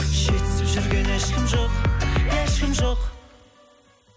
жетісіп жүрген ешкім ешкім жоқ